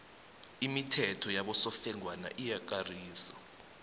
imithetho yabosofengwana iyakarisa